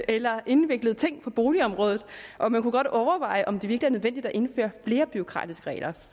eller indviklede ting på boligområdet og man kunne godt overveje om det virkelig er nødvendigt at indføre flere bureaukratiske regler